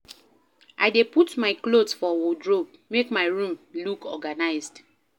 I dey put my clothes for wardrobe, make my room look organized